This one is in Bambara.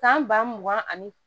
Tan ba mugan ani